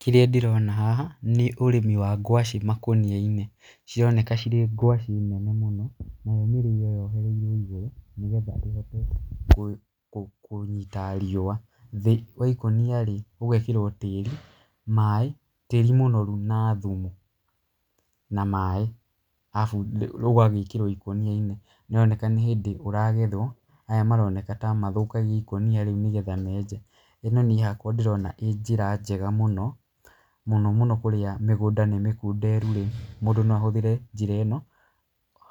Kĩrĩa ndĩrona haha nĩ ũrĩmi wa ngwacĩ makũnia-inĩ. Cironeka cirĩ ngwacĩ nene mũno. Nayo mĩrĩo yohereirwo igũrũ nĩgetha ĩhote kũnyita riũa. Thĩ wa ikũnia rĩ, ũgekĩrwo tĩĩri, maaĩ, tĩĩri mũnoru na thumu na maaĩ arabu ũgagĩkĩrwo ikũnia-inĩ. Nĩ ũroneka nĩ hĩndĩ ũragethwo, aya maroneka ta mathũkagia ikũnia rĩu nĩgetha menje. ĩno niĩ hakwa ndĩrona ĩĩ njĩra njega mũno mũno kũrĩa mĩgũnda nĩ mĩkunderu rĩ, mũndũ no ahũthĩre njĩra ĩno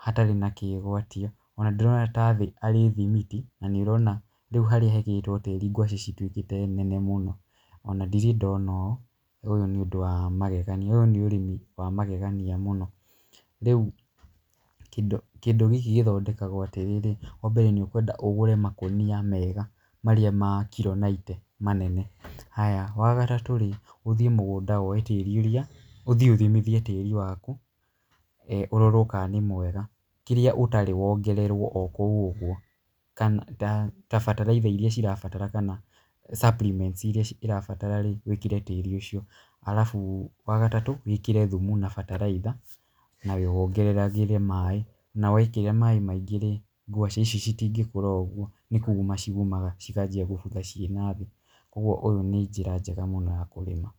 hatarĩ na kĩgwatia. Ona ndĩrona ta thĩ arĩ thimiti na nĩ ũrona rĩu harĩa hekĩrĩtwo tĩĩri ngwacĩ cituĩkĩte nene mũno. Ona ndirĩ ndona ũũ, ũyũ nĩ ũndũ wa magegania ũyũ nĩ ũrĩmi wa magegania mũno. Rĩu kĩndũ gĩkĩ gĩthondekagwo atĩrĩrĩ, wa mbere nĩ ũkwenda ũgũre makũnia mega marĩa ma kiro ninety manene. Haya, wa gatatũ rĩ, ũthiĩ mũgũnda woe tĩĩri ũrĩa, ũthiĩ ũthimithie tĩĩri waku ũrorwo kana nĩ mwega, kĩrĩa ũtarĩ wongererwo o kũu ũguo. Kana ta bataraitha irĩa cirabatara kana supplements irĩa ũrabatara rĩ, wĩkĩre tĩĩri ũcio. Arabu wa gatatũ wĩkĩre thumu na bataraitha na wongagĩrĩre maaĩ. Na wekĩra maaĩ maingĩ rĩ, ngwacĩ ici citingĩkũra ũguo, nĩ kũma ciũmaga cikanjia gũbutha ciĩ na thĩ. Koguo ũũ nĩ njĩra njega mũno ya kũrĩma.